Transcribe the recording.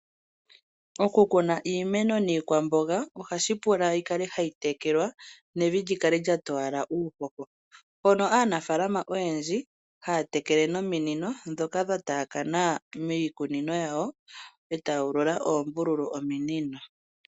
Okukuna iimeno niikwamboga ohashi pula yikale hayi tekelwa nevi likale lya towala uuhoho, mpono aanafaalama oyendji haya tekele nominino ndhoka dha taakana miikunino yawo etaya ulula oombululu mominino.